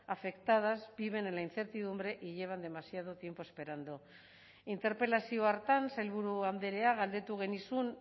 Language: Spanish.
afectadas viven en la incertidumbre y llevan demasiado tiempo esperando interpelazio hartan sailburu andrea galdetu genizun